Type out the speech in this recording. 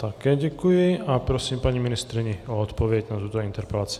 Také děkuji a prosím paní ministryni o odpověď na tuto interpelaci.